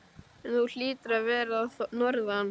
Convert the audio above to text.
En þú hlýtur að vera að norðan.